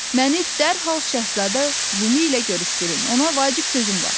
Məni dərhal Şəhzadə Lumu ilə görüşdürün, ona vacib sözüm var.